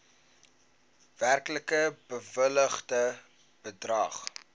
werklik bewilligde bedrag